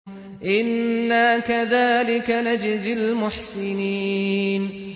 إِنَّا كَذَٰلِكَ نَجْزِي الْمُحْسِنِينَ